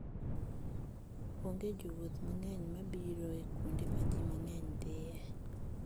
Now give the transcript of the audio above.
Onge jowuoth mang'eny ma biro e kuonde ma ji mang'eny dhiye.